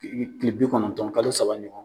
Kile kile bi kɔnɔntɔn kalo saba ɲɔgɔn